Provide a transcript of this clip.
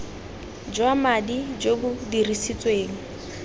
jwa madi jo bo dirisitsweng